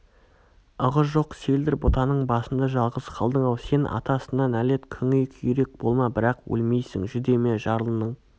ығы жоқ селдір бұтаның басында жалғыз қалдың-ау сен атасына нәлет күңей-күйрек болма бірақ өлмейсің жүдеме жарлының